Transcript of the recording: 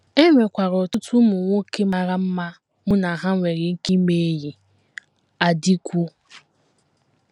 E nwekwara ọtụtụ ụmụ nwoke mara mma mụ na ha nwere ike ime enyi. ” Adikwu.